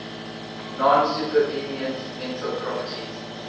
non supervenient mental properties